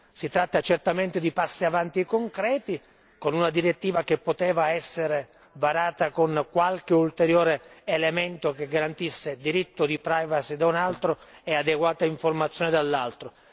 Si tratta certamente di passi avanti concreti, con una direttiva che poteva essere varata con qualche ulteriore elemento che garantisse diritto di privacy da un lato e adeguata informazione dall'altro.